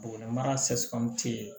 Buguni mara ye